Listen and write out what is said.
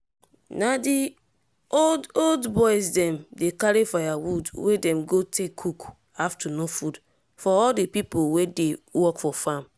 na di old old boys dem dey carry firewood wey dem go take cook afternoon food for all di pipo wey dey work for farm.